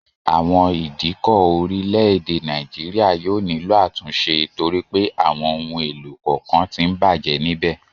Àwọn ìdíkọ̀ orílẹ̀ èdè Nàìjíríà yóò nílò àtúnṣe torí pé àwọn ohun èlò kọ̀ọ̀kan tí ń bàjẹ́ níbẹ̀